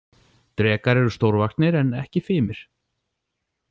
Drekar eru stórvaxnir en ekki fimir.